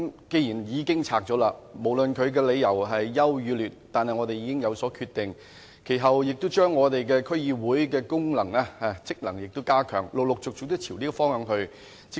既然已經解散了，無論理由孰優孰劣，我們已有所決定，其後亦陸續朝着加強區議會的功能和職能這個方向發展。